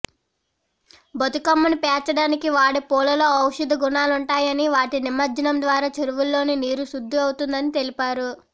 బతుకమ్మను పేర్చడానికి వాడే పూలలో ఔషద గుణాలుంటాయని వాటి నిమజ్జనం ద్వారా చెరువుల్లోని నీరు శుద్ధి అవుతుందని తెలిపారు